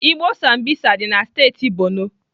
Igbo Sambisa dị na steeti Borno.